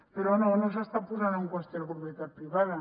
però no no s’està posant en qüestió la propietat privada